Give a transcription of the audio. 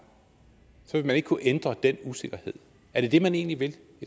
vil kunne ændre den usikkerhed er det det man i det